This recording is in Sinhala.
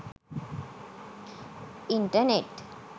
internet